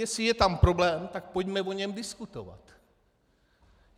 Jestli je tam problém, tak pojďme o něm diskutovat.